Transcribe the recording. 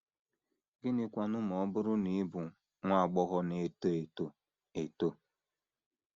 Gịnịkwanụ ma ọ bụrụ na ị bụ nwa agbọghọ na - eto eto eto?